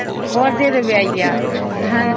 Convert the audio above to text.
କର ଦେଇ ଦେବେ ଆଂଜ୍ଞା